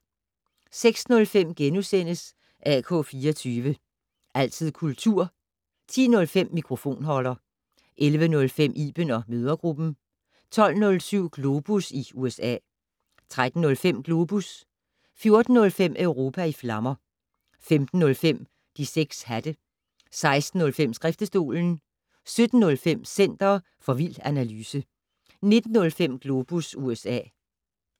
06:05: AK 24syv. Altid kultur * 10:05: Mikrofonholder 11:05: Iben & mødregruppen 12:07: Globus i USA 13:05: Globus 14:05: Europa i flammer 15:05: De 6 hatte 16:05: Skriftestolen 17:05: Center for vild analyse 19:05: Globus USA